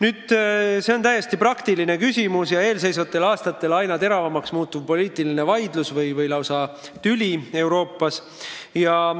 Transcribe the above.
Tegu on täiesti praktilise küsimusega ja eelseisvatel aastatel aina teravamaks muutuva poliitilise vaidlusega või lausa tüliga Euroopas.